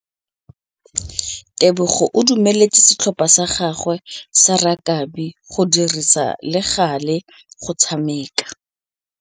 Tebogô o dumeletse setlhopha sa gagwe sa rakabi go dirisa le galê go tshameka.